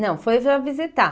Não, foi para visitar.